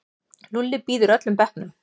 Lúlli býður öllum bekknum.